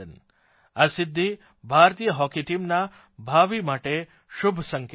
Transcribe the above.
આ સિદ્ધિ ભારતીય હોકી ટીમના ભાવિ માટે શુભ સંકેત છે